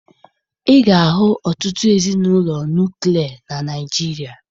Ị ga-ahụ ọtụtụ ezinụlọ nuklia na Naịjirịa